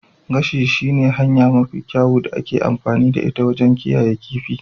Gashi shi ne hanya mafi kyawu da ake amfani da ita wajen kiyayewa kifin.